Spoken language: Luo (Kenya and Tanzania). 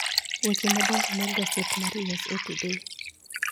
Weche madongo mag gaset mar U.S.A. Today